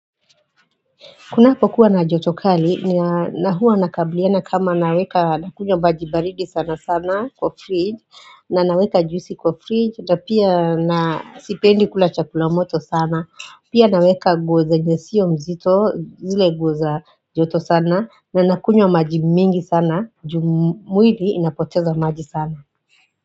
Kunapokuwa na joto kali, na huwa nakabliana kama naweka nakunywa maji baridi sana sana kwa fridge, na naweka juisi kwa fridge, na pia na sipendi kula chakula moto sana, pia naweka nguo zenye sio mzito, zile nguo za joto sana, na nakunywa maji mingi sana ju mwili inapoteza maji sana.